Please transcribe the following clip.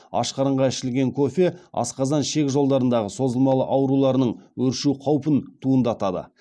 аш қарынға ішілген кофе асқазан ішек жолдарындағы созылмалы ауруларының өршу қаупін туындатады